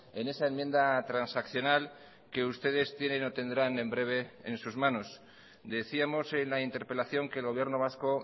en esa enmienda transaccional que ustedes tienen o tendrán en breve en sus manos decíamos en la interpelación que el gobierno vasco